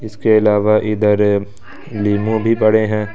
इसके अलावा इधर लीमू भी पड़े हैं।